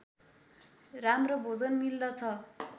राम्रो भोजन मिल्दछ